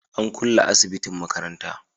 an kulle asibitin makaranta